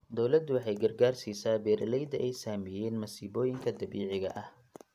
Dawladdu waxay gargaar siisaa beeralayda ay saameeyeen masiibooyinka dabiiciga ah.